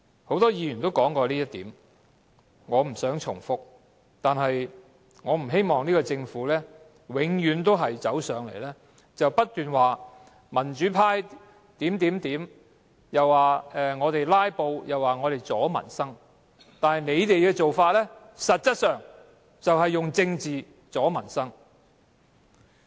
很多議員也提及這點，我不想重複；但我不希望現屆政府永遠來到立法會便說民主派這樣那樣，又說我們"拉布"，又說我們阻礙民生，但他們的做法實際上卻是以政治阻礙民生。